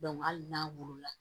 hali n'a wolo la